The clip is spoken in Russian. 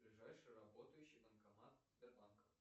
ближайший работающий банкомат сбербанка